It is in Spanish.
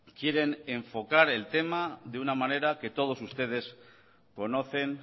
quieren enfocar el tema de una manera que todos ustedes conocen